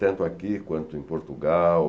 Tanto aqui quanto em Portugal.